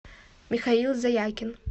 михаил заякин